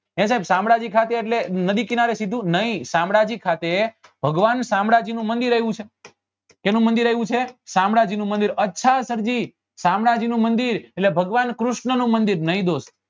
હે સાહેબ શામળાજી ખાતે એટલે નદી કિનારે કીધું નહિ શામળાજી ખાતે ભગવાન શામળાજી નું મંદિર આવ્યું છે શેનું મંદિર આવ્યું છે શામળાજી અચ્છા સર જી શામળાજી નું મંદિર એટલે ભગવાન કૃષ્ણ નું મંદિર નહિ દોસ્ત